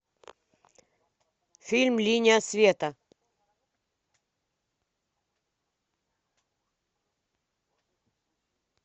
фильм линия света